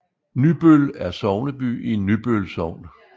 Nybøl er sogneby i Nybøl Sogn